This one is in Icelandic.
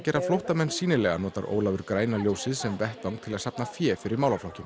gera flóttamenn sýnilega notar Ólafur græna ljósið líka sem vettvang til að safna fé fyrir málaflokkinn